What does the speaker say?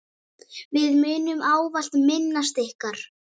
Við munum ávallt minnast ykkar.